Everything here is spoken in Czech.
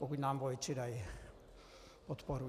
Pokud nám voliči dají podporu.